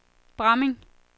Bramming